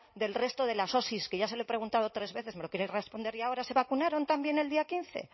del resto de las osi que ya se lo he preguntado tres veces me lo quiere responder ahora se vacunaron también el día quince